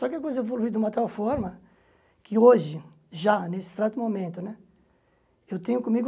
Só que a coisa evoluiu de uma tal forma que hoje, já, nesse exato momento né, eu tenho comigo